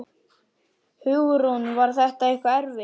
Hugrún: Var þetta eitthvað erfitt?